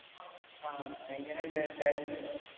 ആഹ് എങ്ങനെണ്ട് taste Indo